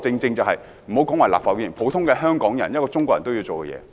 這是立法會議員、普通香港人和中國人都會做的事。